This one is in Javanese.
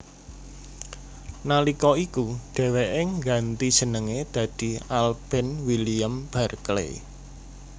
Nalika iku dheweke ngganti jenenge dadi Alben William Barkley